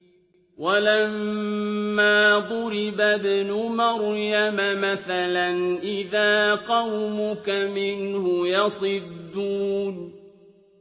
۞ وَلَمَّا ضُرِبَ ابْنُ مَرْيَمَ مَثَلًا إِذَا قَوْمُكَ مِنْهُ يَصِدُّونَ